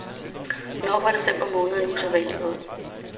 Nok var december måned usædvanlig våd.